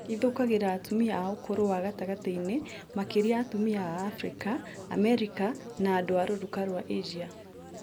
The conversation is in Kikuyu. Ithũkagĩra atumia a ũkũrũ wa gatagatĩ-inĩ, makĩria atumia a Afrika, Amerika na andũ a rũruka rwa Asia